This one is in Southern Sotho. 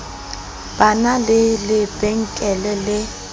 ba na le lebenkele le